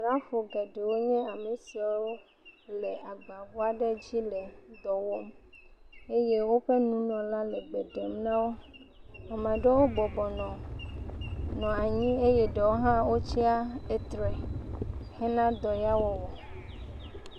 Asrafo geɖewo nye amsiawo le agbaʋu aɖe dzi le dɔwɔm eye woƒe nunɔla le gbe ɖem nawo ame aɖewo bɔbɔ nɔ anyi eye ɖewo ha wotia titre henɔ dɔ la wɔwɔ